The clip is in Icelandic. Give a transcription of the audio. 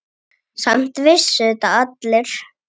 Samt vissu þetta allir.